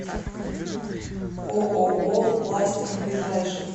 ооо пластик ближайший